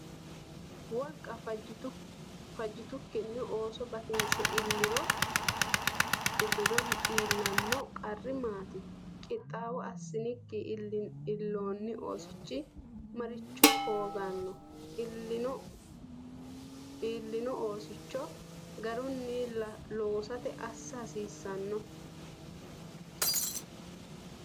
Wolqa fajjitukkinni ooso batinse illiro iillanno qarri maati? Qixxaawo assinikki illoonni oosichi maricho hooganno? Illoonni oosicho garunni lossate assa hasiissanno?